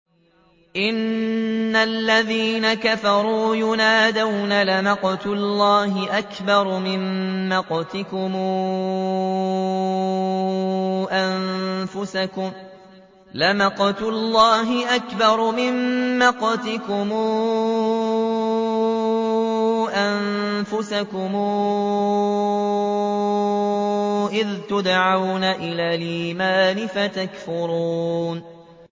إِنَّ الَّذِينَ كَفَرُوا يُنَادَوْنَ لَمَقْتُ اللَّهِ أَكْبَرُ مِن مَّقْتِكُمْ أَنفُسَكُمْ إِذْ تُدْعَوْنَ إِلَى الْإِيمَانِ فَتَكْفُرُونَ